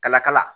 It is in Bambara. Kala kala